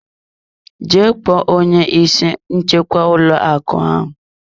Jee kpọọ onye isi nchekwa ụlọ akụ ahụ.